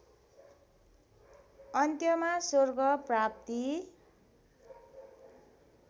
अन्त्यमा स्वर्ग प्राप्ति